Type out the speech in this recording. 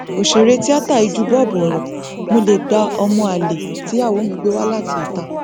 ọsẹrẹ tíata yìí jù bọbú ọrọ mo lè gba ọmọ àlè tíyàwó mi gbé wá láti ìta